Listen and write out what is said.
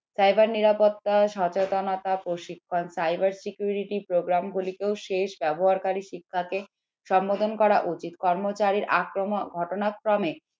cyber নিরাপত্তা সচেতনতা প্রশিক্ষণ cyber security program গুলি শেষ ব্যবহারকারী শিক্ষা সম্বোধন করা উচিত কর্মচারীর আক্রমণ ঘটনা ক্রমে